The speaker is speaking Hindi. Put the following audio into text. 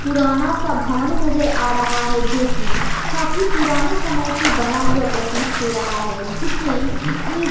पुराना सब हवन नजर आ रहा है जो की काफी पुराने समय से बना हुआ प्रतीत हो रहा है जिसमें ईट--